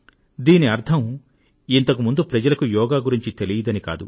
దీని అర్థం ఇంతకు ముందు ప్రజలకు యోగా గురించి జ్ఞానం లేదని కాదు